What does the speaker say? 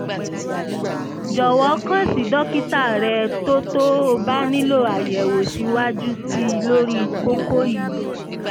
jọ̀wọ́ kàn sí dókítà rẹ tó tó o bá nílò àyẹ̀wò síwájú sí i lórí kókó yìí